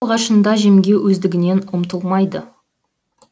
алғашында жемге өздігінен ұмтылмайды